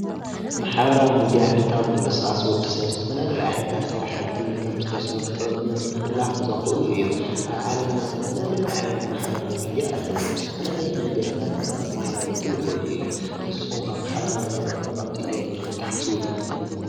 ማሕበራዊ ሚድያ ዕለታዊ ምንቅስቃስ ወዲ ሰብ ዝተፈላለየ ዓይነታት ስራሕቲ ከምዝተሰርሑ ንምሕልላፍ ዘኽእሉ እዮም፡፡ ኣብ ዓለምና ዝተፈላለዩ ዓይነት ማሕበራዊ ሚድያ ኣለው፡፡ ብዝተፈላለየ መንገድታት ድማ ክመሓላለፉ ይኽእሉ እዮም፡፡ ንስኹም ከ ማሕበራዊ ሚድያ ጠቐምቲ እዮም ኢልኩም ትሓስቡ ዶ?